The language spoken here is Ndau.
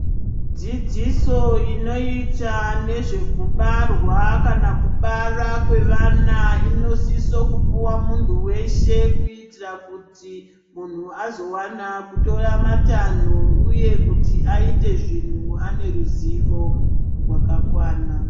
Dzidziso inoita nezvekubarwa kana kubara kwevana inosiso kupuwa munthu weshe kuitira kuti munthu azowana kitora matanho uye kuti aite zvinhu ane ruzivo rwakakwana.